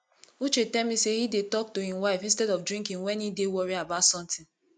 uche tell me say he dey talk to im wife instead of drinking wen he dey worry about something